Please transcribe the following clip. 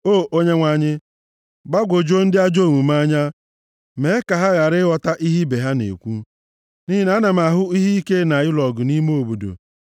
O Onyenwe anyị, gbagwojuo ndị ajọ omume anya, mee ka ha ghara ịghọta ihe ibe ha na-ekwu, nʼihi na ana m ahụ ihe ike na ịlụ ọgụ nʼime obodo.